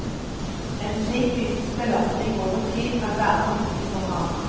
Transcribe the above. En slik fysisk belastning over tid kan være for mye for ham.